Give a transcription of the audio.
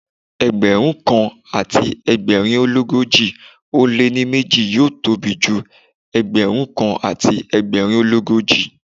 Ẹgbẹ̀rún kan àti ẹgbẹ̀rin ó l'ógójì ó lé ní méjì yóò tóbi ju Ẹgbẹ̀rún kan àti ẹgbẹ̀rin ó l'ógójì.